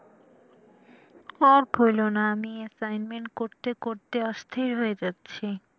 আর বলো না আমি assignment করতে করতে অস্থির হয়ে যাচ্ছি।